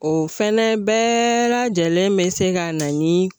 O fɛnɛ bɛɛ lajɛlen be se ka na ni